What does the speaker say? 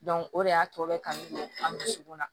o de y'a to bɛ kanu an dusukun na